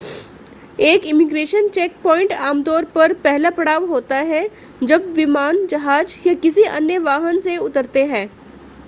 एक immigration checkpoint आमतौर पर पहला पड़ाव होता है जब विमान जहाज़ या किसी अन्य वाहन से उतरते हैं